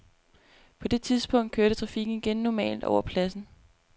På det tidspunkt kørte trafikken igen normalt over pladsen.